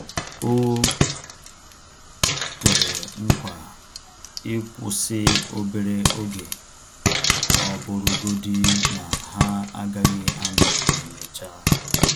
O kwere nkwa ịkwụsị obere oge, ọ bụrụ godi na-ha agaghị anọ emecha